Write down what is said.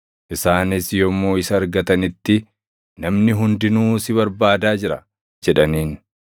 isaanis yommuu isa argatanitti, “Namni hundinuu si barbaadaa jira!” jedhaniin.